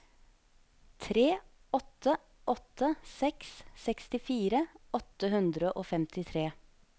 tre åtte åtte seks sekstifire åtte hundre og femtitre